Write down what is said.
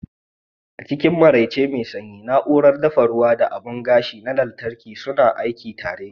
A cikin maraice mai sanyi, na'urar dafa ruwa da abun gashi na lantarki suna aiki tare.